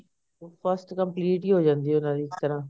ਉਹ first complete ਹੀ ਹੋ ਜਾਂਦੀ ਐ ਇੱਕ ਤਰ੍ਹਾਂ